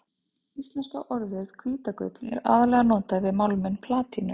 Íslenska orðið hvítagull er aðallega notað yfir málminn platínu.